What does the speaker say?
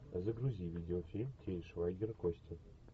загрузи видеофильм тиль швайгер кости